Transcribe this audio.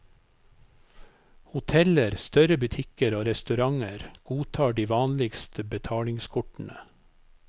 Hoteller, større butikker og restauranter godtar de vanligste betalingskortene.